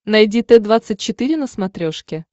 найди т двадцать четыре на смотрешке